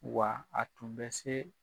Wa a tun bɛ se